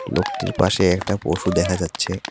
লোকটির পাশে একটা পশু দেখা যাচ্ছে।